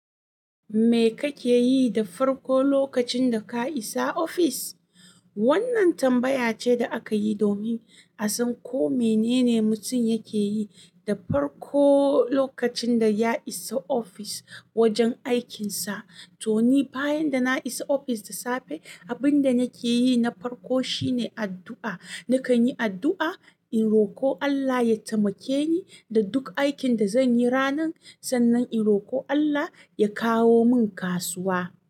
Me kake yi da farko lokacin da ka isa ofis? Wannan tambaya ce da aka yi domin a san ko menene mutum yake yi da farko lokacin da ya isa ofis wajen aikinsa. To ni bayan da na isa ofis da safe, abin da nake yi na farko shine addu'a. Nakan yi addu'a in roko Allah ya taimake ni da duk aikin da zan yi ranan. Sannan in roko Allah ya kawo min kasuwa.